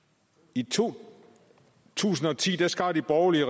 i to tusind og ti skar den borgerlige